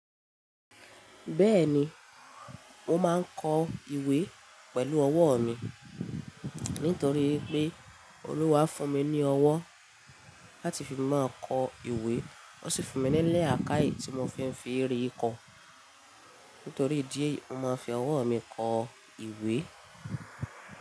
Bẹ́ẹ̀ni, mo máa ń kọ ìwé pẹ̀lú ọwọ́ mi. Nítorí wípé Olúwa fún mi ní ọwọ́ láti fi máa kọ ìwé. Ó sì fún mi ni lakáì tí mo fi ń fi rí kọ. Nítorí ìdí èyí, mo máa fi ọwọ́ mi kọ ìwé.